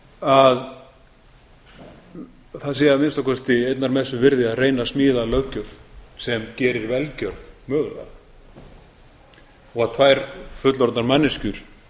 að það sé að minnsta kosti einnar messu virði að reyna að smíða löggjöf sem gerir velgerð mögulega og tvær fullorðnar manneskjur